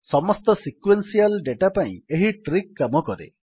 ସମସ୍ତ sequential data ପାଇଁ ଏହି ଟ୍ରିକ୍ କାମ କରେ